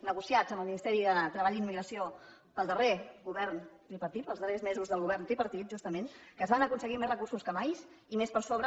negociats amb el ministeri de treball i immigració pel darrer govern tripartit els darrers mesos del govern tripartit justament que es van aconseguir més recursos que mai i més per sobre